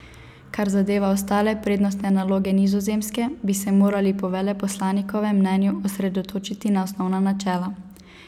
Kar zadeva ostale prednostne naloge Nizozemske, bi se morali po veleposlanikovem mnenju osredotočiti na osnovna načela.